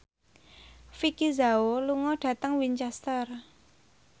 Vicki Zao lunga dhateng Winchester